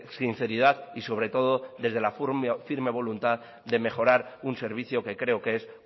sinceridad y sobre todo desde la firme voluntad de mejorar un servicio que creo que es